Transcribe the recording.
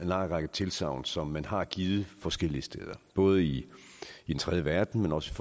lang række tilsagn som man har givet forskellige steder både i den tredje verden men også